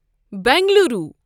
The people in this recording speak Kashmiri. بنگلورٗو